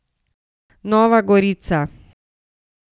Nova gorica.